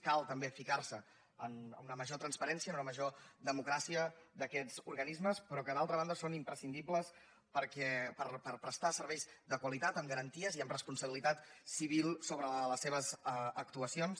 cal també ficar se en una major transparència en una major democràcia d’aquests organismes però que d’altra banda són imprescindibles per prestar serveis de qualitat amb garanties i amb responsabilitat civil sobre les seves actuacions